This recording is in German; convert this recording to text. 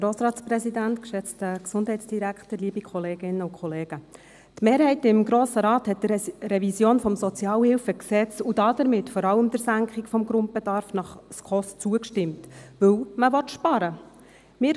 Die Mehrheit des Grossen Rates hat der Revision des SHG und damit vor allem der Senkung des Grundbedarfs nach den SKOS-Richtlinien zugestimmt, weil man sparen will.